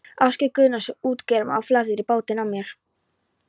Ásgeir Guðnason, útgerðarmaður á Flateyri, bátinn af mér.